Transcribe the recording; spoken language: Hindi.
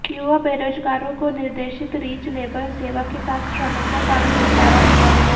युवा बेरोजगारों को निर्देशित रीच लेबर सेवा के साथ श्रमिकों का भी निपटारा किया गया